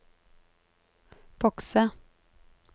bokse